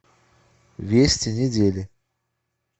вести недели